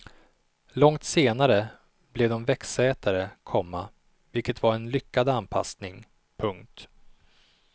Långt senare blev de växtätare, komma vilket var en lyckad anpassning. punkt